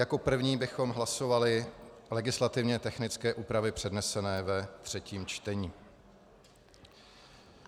Jako první bychom hlasovali legislativně technické úpravy přednesené ve třetím čtení.